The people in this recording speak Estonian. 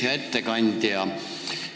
Hea ettekandja!